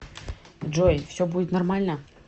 джой все будет нормально